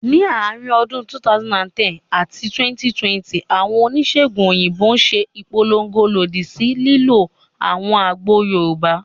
Ní àárín ọdún 2010 àti 2020, àwọn oníṣèègùn òyìnbó ṣe ìpolongo lòdì sí ìlò àwọn àgbo Yorùbá